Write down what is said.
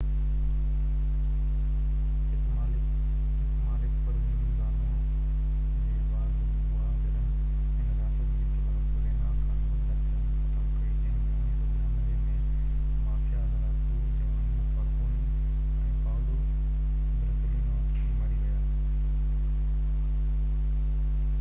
اهي مالڪ Provenzano جي واڳ ۾ هئا جڏهن هن رياست جي خلاف رينا کان هلندڙ جنگ ختم ڪئي جنهن ۾ 1992 ۾ مافيا لڙاڪو جُواني فالڪوني ۽ پائولو بورسيلينو مري ويا